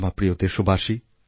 আমার প্রিয় দেশবাসী